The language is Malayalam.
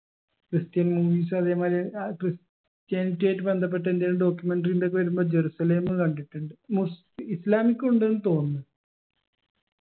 christian മുനീസ് അതേമാതിരി ഏർ christianity ആയിട്ട് ബന്ധപ്പെട്ടതിന്റെ ഒരു documentary ണ്ടക്കി വരുമ്പോ ജെറുസലേം കണ്ടിട്ടുണ്ട് മുസ് islamic ഉ ഉണ്ടെന്ന് തോന്നുന്നു